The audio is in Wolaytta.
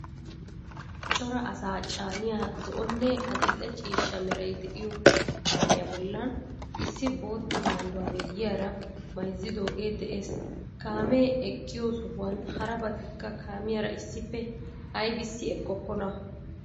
Cora asaa caaniya zo"onne adil"e ciishsha meray de'iyo kaamiyaa bollan issi bootta maayuwaa miyiyaara mayzzidoogee de'ees. Kaamee eqqiyo sohuwan harabati kaamiyaara issippe aybissi eqqokkona?